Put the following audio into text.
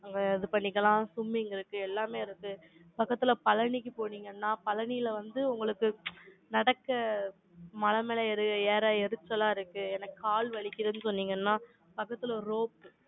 அங்க, இது பண்ணிக்கலாம். swimming இருக்கு, எல்லாமே இருக்கு. பக்கத்துல, பழனிக்கு போனீங்கன்னா, பழனியில வந்து, உங்களுக்கு, நடக்க, மலை மேல ஏறி ஏற எரிச்சலா இருக்கு எனக்கு கால் வலிக்குதுன்னு சொன்னீங்கன்னா, பக்கத்துல rope